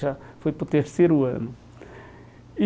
Já foi para o terceiro ano. E